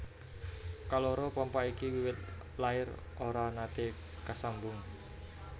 Kaloro pompa iki wiwit lair ora naté kasambung